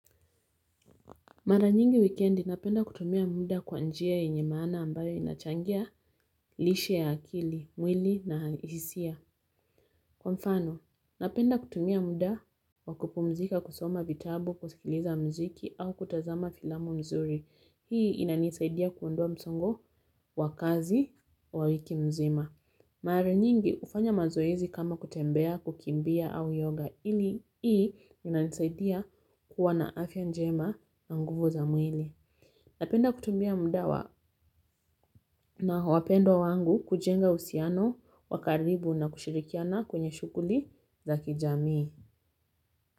Mara nyingi wikendi napenda kutumia muda kwa njia yenye maana ambayo inachangia lishe ya akili mwili na hisia kwa mfano napenda kutumia muda wa kupumzika kusoma vitabu kusikiliza muziki au kutazama filamu nzuri. Hhi inanisaidia kuondoa msongo wa kazi wa wiki mzima mara nyingi kufanya mazoezi kama kutembea kukimbia au yoga ili hii inanisaidia kuwa na afya njema na nguvu za mwili napenda kutumia muda wa na wapendwa wangu kujenga uhusiano wa karibu na kushirikiana kwenye shughuli za kijamii.